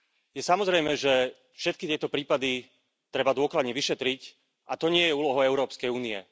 Je samozrejmé, že všetky tieto prípady treba dôkladne vyšetriť. A to nie je úlohou Európskej únie.